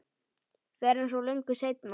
Fyrr en svo löngu seinna.